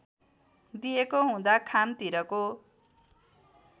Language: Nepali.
दिएको हुँदा खामतिरको